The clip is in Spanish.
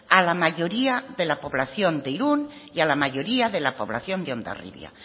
a la mayoría de la población de irún y a la mayoría de la población de hondarribia